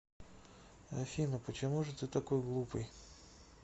афина почему же ты такой глупый